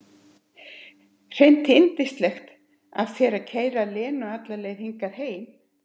Hreint yndislegt af þér að keyra Lenu alla leið hingað heim.